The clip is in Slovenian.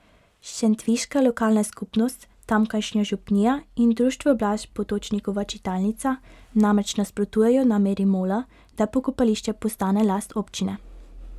Šentviška lokalna skupnost, tamkajšnja župnija in Društvo Blaž Potočnikova čitalnica namreč nasprotujejo nameri Mola, da pokopališče postane last občine.